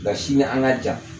Nga sini an ka jan